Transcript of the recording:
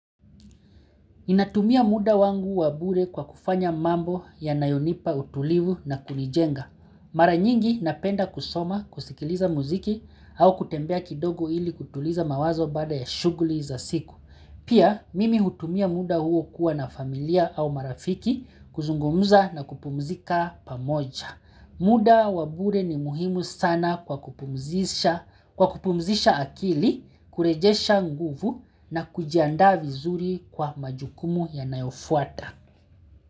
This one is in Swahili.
Natumia muda wangu wa bure kwa kufanya mambo yanayonipa utulivu na kunijenga. Mara nyingi napenda kusoma kusikiliza muziki au kutembea kidogo ili kutuliza mawazo baada ya shughuli za siku. Pia mimi hutumia muda huo kuwa na familia au marafiki kuzungumza na kupumzika pamoja. Muda wa bure ni muhimu sana kwa kupumzisha akili, kurejesha nguvu na kujianda vizuri kwa majukumu yanayofuata.